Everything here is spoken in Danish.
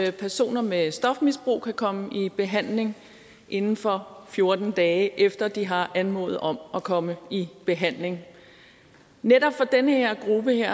at personer med stofmisbrug kan komme i behandling inden for fjorten dage efter de har anmodet om at komme i behandling netop for den her gruppe